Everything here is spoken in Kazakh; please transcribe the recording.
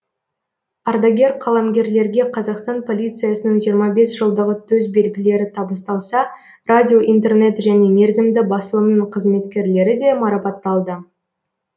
ардагер қаламгерлерге қазақстан полициясының жиырма бес жылдығы төсбелгілері табысталса радио интернет және мерзімді басылымның қызметкерлері де марапатталды